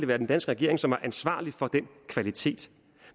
være den danske regering som var ansvarlig for den kvalitet